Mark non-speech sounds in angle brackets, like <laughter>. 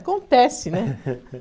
Acontece, né? <laughs>